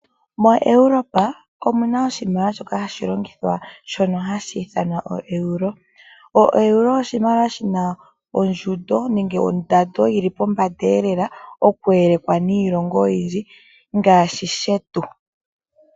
MoEurope omu na oshimaliwa shoka hashi longithwa shono hashi ithanwa oeuro. Oeuro oshimaliwa shi na ondjundo nenge ondando yili pombanda elela oku elekwa niilongo oyindji ngaashi shetu.